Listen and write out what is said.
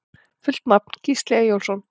Fullt nafn: Gísli Eyjólfsson